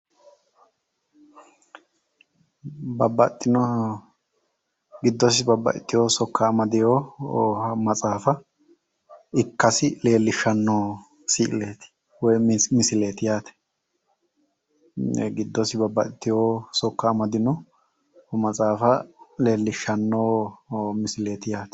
Babbaxxino giddosi babbaxxitewo amadeewo matsaafa ikkasi leellishshanno si"ileeti. woyi misileeti yaate. giddosi babbaxxitewo sokka amadino matsaafa leellishshanno misileeti yaate.